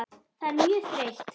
Það er mjög þreytt.